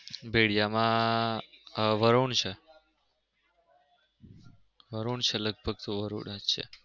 ભેળીયા માં વરુણ છે વરૃણ છે લગભગ તો વરૃણ જ છે